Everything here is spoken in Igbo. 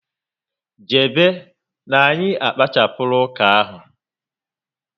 Jebe na anyị akpachapula uka ahụ